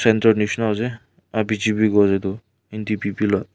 tendor nishina ase aro